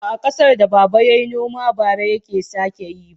Ba a ƙasar da baba yayi noma bara take sake yi ba.